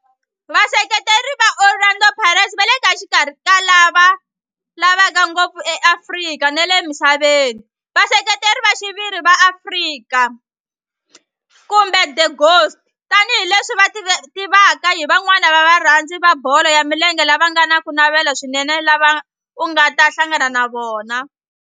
Vaseketeri va Orlando Pirates va le xikarhi ka lava lavaka ngopfu eAfrika na le misaveni, Vaseketeri va xiviri va Pirates, kumbe the Ghost, tani hi leswi va tiviwaka hi van'wana va varhandzi va bolo ya milenge lava nga na ku navela swinene lava u nga ta hlangana na vona.